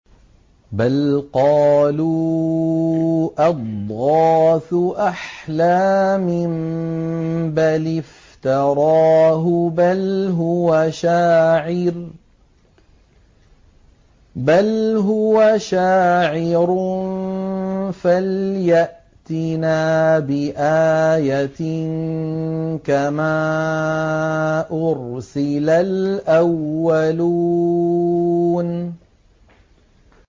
بَلْ قَالُوا أَضْغَاثُ أَحْلَامٍ بَلِ افْتَرَاهُ بَلْ هُوَ شَاعِرٌ فَلْيَأْتِنَا بِآيَةٍ كَمَا أُرْسِلَ الْأَوَّلُونَ